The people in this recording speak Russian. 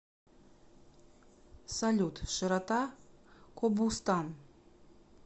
салют широта кобустан